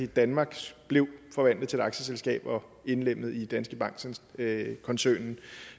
danmark blev forvandlet til et aktieselskab og indlemmet i danske bank koncernen